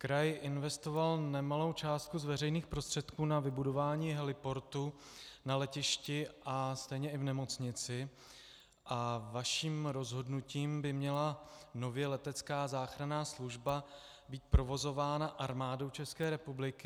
Kraj investoval nemalou částku z veřejných prostředků na vybudování heliportu na letišti a stejně i v nemocnici a vaším rozhodnutím by měla nově letecká záchranná služba být provozována Armádou České republiky.